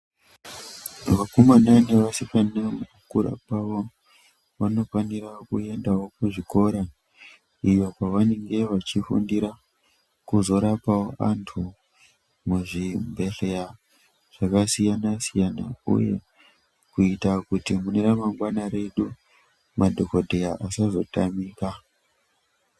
Vakomana nevasikana mukukura kwavo vanofanira kuendawo kuzvikora iyo kwavanenge vachifundira kuzorapawo antu muzvibhedhleya zvakasiyana siyana uye kuita kuti mune ramangwana redu madhokodheya asazotamika.